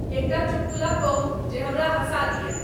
एकटा चुटकुला कहूं जे हमरा हंसा दिया